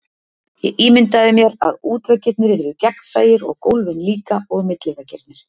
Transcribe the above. Ég ímyndaði mér, að útveggirnir yrðu gegnsæir, og gólfin líka, og milliveggirnir.